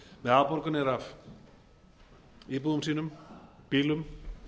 með afborganir af íbúðum sínum bílum